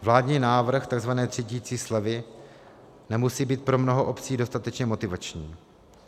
Vládní návrh tzv. třídicí slevy nemusí být pro mnoho obcí dostatečně motivační.